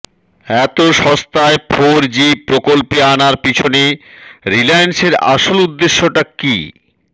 এত শস্তায় four G প্রকল্পে আনার পিছনে রিলায়েন্সের আসল উদ্দেশ্যটা কী